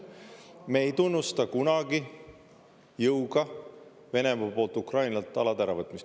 Me ei tunnusta kunagi jõuga Venemaa poolt Ukrainalt alade äravõtmist.